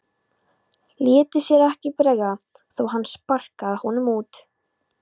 Léti sér ekki bregða þó að hann sparkaði honum út.